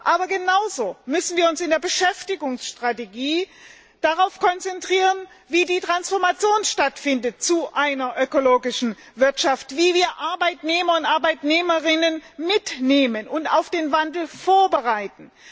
Aber genauso müssen wir uns in der Beschäftigungsstrategie darauf konzentrieren, wie die Transformation zu einer ökologischen Wirtschaft stattfinden soll, wie wir Arbeitnehmer und Arbeitnehmerinnen mitnehmen und auf den Wandel vorbereiten.